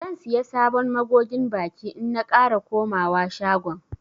Zan siya sabon magogin baki in na kara komawa shagon.